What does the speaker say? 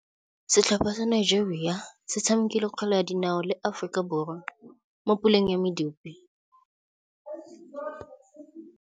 Setlhopha sa Nigeria se tshamekile kgwele ya dinaô le Aforika Borwa mo puleng ya medupe.